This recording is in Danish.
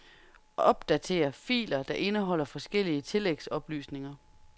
Opdater filer der indeholder forskellige tillægsoplysninger.